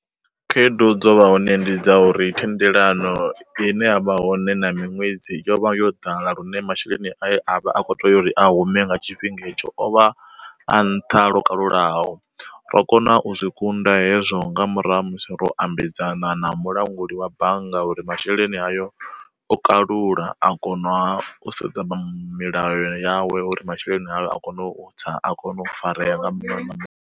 Khaedu dzo vha hone ndi dza uri thendelano ine yavha hone na miṅwedzi, yo vha yo ḓala lune masheleni a vha a kho tea uri a hume nga tshifhinga etsho ovha a nṱha lwo kalulaho. Ro kona u zwi kunda hezwo nga murahu ha musi ro u ambedzana na mulanguli wa bannga uri masheleni hayo o kalula a kona u sedza milayo yawe uri masheleni avho a kone u tsa a kone u farea nga ma .